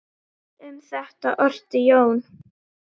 Um þetta orti Jón